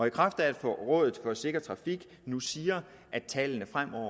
i kraft af at rådet for sikker trafik nu siger at tallene fremover